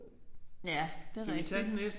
Ja det rigtigt